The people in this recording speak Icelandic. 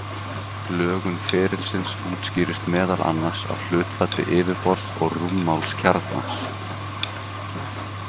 Lögun ferilsins útskýrist meðal annars af hlutfalli yfirborðs og rúmmáls kjarnans.